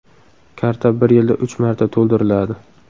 Karta bir yilda uch marta to‘ldiriladi.